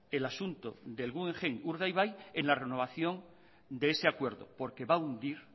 el asunto del guggenheim urdaibai en la renovación de ese acuerdo porque va a hundir